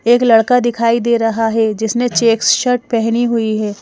एक लड़का दिखाई दे रहा है जिसने चेक शर्ट पहनी हुई है।